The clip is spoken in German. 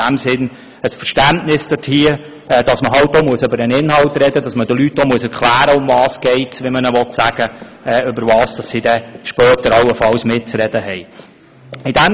In diesem Sinn habe ich Verständnis dafür, dass man halt auch über den Inhalt sprechen und den Leuten erklären muss, worum es geht und worüber sie dann später allenfalls mitzureden hätten.